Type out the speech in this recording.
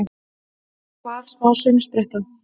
Hvað, smá saumspretta!